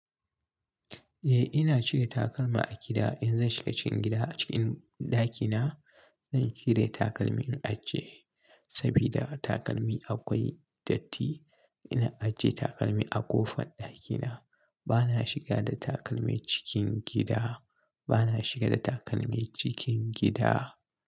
Eh, ina cire takalma a gida. In zan shiga cikin gida a cikin ɗakina, zan cire takalmi in ajiye, saboda takalmi akwai datti. Ina ajiye takalmi a ƙofan ɗakina. Bana shiga da takalmi cikin gida. Bana shiga da takalmi cikin gida.